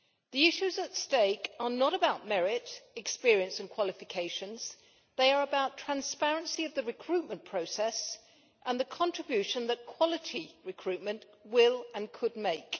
The issues at stake are not about merit, experience and qualifications they are about transparency of the recruitment process and the contribution that quality recruitment will and could make.